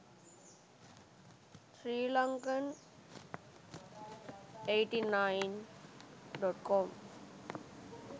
sri lankan 89.com